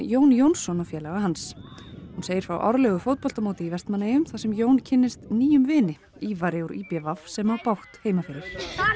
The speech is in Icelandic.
Jón Jónsson og félaga hans hún segir frá árlegu fótboltamóti í Vestmannaeyjum þar sem Jón kynnist nýjum vini Ívari úr í b v sem á bágt heima fyrir